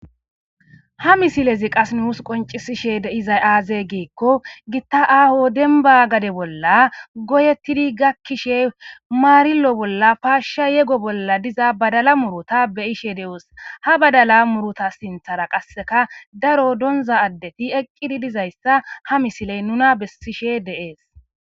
Ha misilezi qassi nus qoncisishe dizay aaze giiko gita aaho dembba gade bolla goyetidi gakkishe marilo bolla paashsha yego bolla diza badala muuruta be'ishe de'oos. Ha badala muuruta sinththara qasseka daro donzza addeti eqqidi dizayssa ha misiley nuna bessishe de'es.